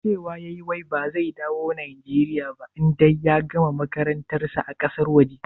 Cewa yayi wai ba zai dawo Nijeriya ba idan ya gama makarantar sa a ƙasar waje?